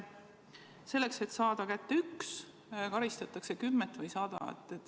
Selleks et saada kätte üks, karistatakse kümmet või sadat.